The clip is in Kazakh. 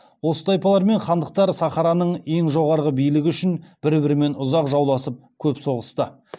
осы тайпалар мен хандықтар сахараның ең жоғары билігі үшін бір бірімен ұзақ жауласып көп соғысты